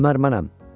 Ömər mənəm.